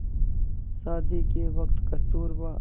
शादी के वक़्त कस्तूरबा